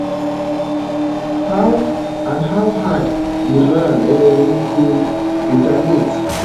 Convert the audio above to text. how and how hard iran um go retaliate